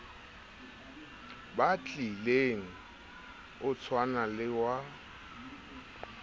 batlileng o tshwana le wa